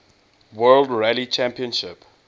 world rally championship